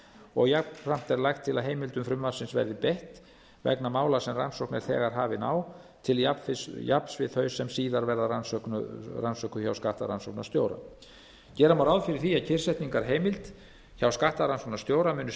og jafnframt er lagt til að heimildum frumvarpsins verði beitt vegna mála sem rannsókn er þegar hafin á til jafns við þau sem síðar verða rannsökuð hjá skattrannsóknarstjóra gera má ráð fyrir að kyrrsetningarheimild hjá skattrannsóknarstjóra muni